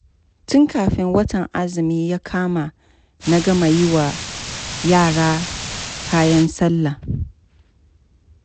Tun kafin watan azumi ya kama, na gama yi wa yara kayan sallah.